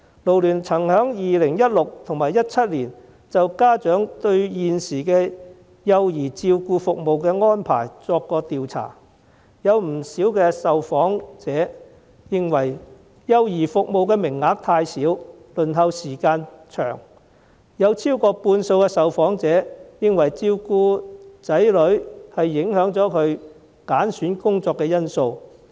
勞聯曾在2016年及2017年就家長對現時幼兒照顧服務的安排作出調查，有不少受訪者認為幼兒服務的名額太少、輪候時間過長，有超過半數受訪者認為照顧子女是影響他們揀選工作的因素。